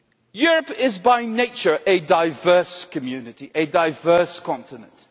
Europe is by nature a diverse community, a diverse continent.